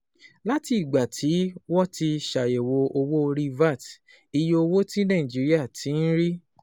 Láti ìgbà tí wọ́n ti ṣàyẹ̀wò owó orí VAT, iye owó tí Nàìjíríà ti ń rí